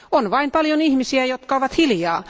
On vain paljon ihmisiä, jotka ovat hiljaa.